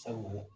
Sabu